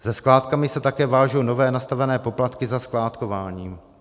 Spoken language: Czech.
Se skládkami se také vážou nově nastavené poplatky za skládkování.